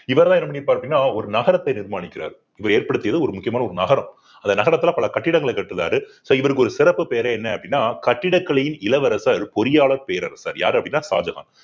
இவர்தான் என்ன பண்ணி பார்த்தீங்கன்னா ஒரு நகரத்தை நிர்மாணிக்கிறார் இவர் ஏற்படுத்தியது ஒரு முக்கியமான ஒரு நகரம் அந்த நகரத்துல பல கட்டிடங்களை கட்டுனாரு so இவருக்கு ஒரு சிறப்பு பேரே என்ன அப்படின்னா கட்டிடக்கலையின் இளவரசர் பொறியாளர் பேரரசர் யாரு அப்படின்னா ஷாஜகான்